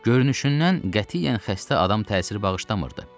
Görünüşündən qətiyyən xəstə adam təəssürü bağışlamırdı.